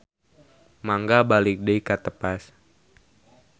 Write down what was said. Mangga balik deui ka tepas.